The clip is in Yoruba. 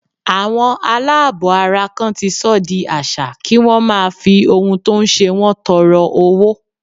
Àwọn aláàbọ̀ ara kan ti sọ di àṣà kí wón máa fi ohun tó ń ṣe wọn tọrọ owó.